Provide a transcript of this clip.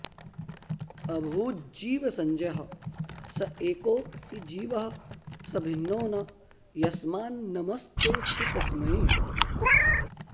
अभूज्जीवसंज्ञः स एको हि जीवः स भिन्नो न यस्मान्नमस्तेऽस्तु तस्मै